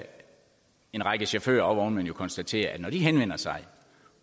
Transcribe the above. en række chauffører og vognmænd jo konstatere at når de henvender sig